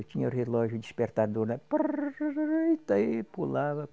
Eu tinha o relógio despertador, né? parara (imitando som do despertador) eita e pulava